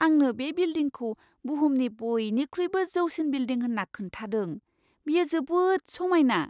आंनो बे बिल्डिंखौ बुहुमनि बयनिख्रुइबो जौसिन बिल्दिं होन्ना खोन्थादों। बेयो जोबोद समायना!